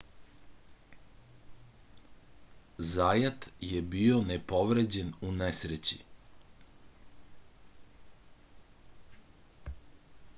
zajat je bio nepovređen u nesreći